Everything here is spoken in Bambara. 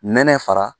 Nɛnɛ fara